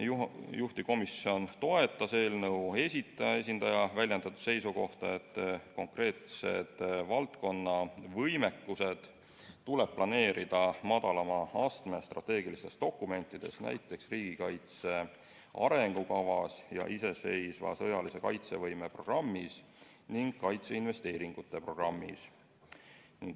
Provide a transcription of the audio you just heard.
Juhtivkomisjon toetas eelnõu esitaja esindaja väljendatud seisukohta, et konkreetsed valdkonna võimekused tuleb planeerida madalama astme strateegilistes dokumentides, näiteks riigikaitse arengukavas ja iseseisva sõjalise kaitsevõime programmis ning kaitseinvesteeringute programmis.